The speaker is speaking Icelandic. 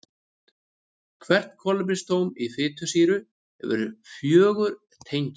Hvert kolefnisatóm í fitusýru hefur fjögur tengi.